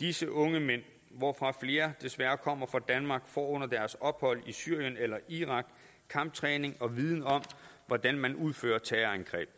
disse unge mænd hvoraf flere desværre kommer fra danmark får under deres ophold i syrien eller irak kamptræning og viden om hvordan man udfører terrorangreb